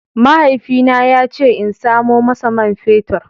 Mahaifina ya ce in samo masa man fetur.